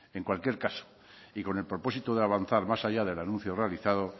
en cualquier caso y con el propósito de avanzar más allá del anuncio realizado